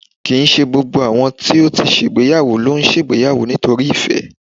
Kì n ṣe gbógbó àwọn tó ti ṣègbéyàwó ló ń ṣègbéyàwó nítorí ìfẹ́